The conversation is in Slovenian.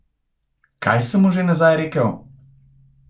Kaj sem mu že nazaj rekel?